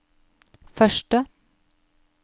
første